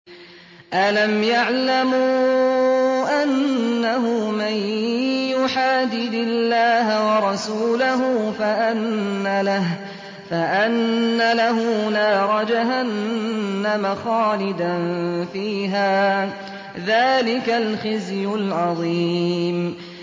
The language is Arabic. أَلَمْ يَعْلَمُوا أَنَّهُ مَن يُحَادِدِ اللَّهَ وَرَسُولَهُ فَأَنَّ لَهُ نَارَ جَهَنَّمَ خَالِدًا فِيهَا ۚ ذَٰلِكَ الْخِزْيُ الْعَظِيمُ